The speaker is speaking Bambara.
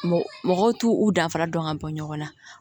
Mɔgɔw t'u danfara dɔn ka bɔ ɲɔgɔn na